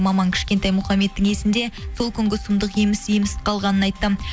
маман кішкентай мұхаммедтің есінде сол күнгі сұмдық еміс еміс қалғанын айтты